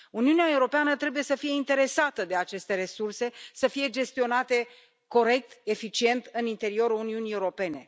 Uniunea Europeană trebuie să fie interesată de aceste resurse, să fie gestionate corect, eficient, în interiorul Uniunii Europene.